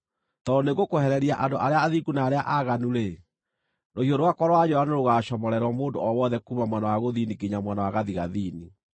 Tondũ nĩngũkwehereria andũ arĩa athingu na arĩa aaganu-rĩ, rũhiũ rwakwa rwa njora nĩrũgacomorerwo mũndũ o wothe kuuma mwena wa gũthini nginya mwena wa gathigathini.